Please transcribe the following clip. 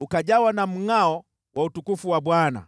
ukajawa na mngʼao wa utukufu wa Bwana .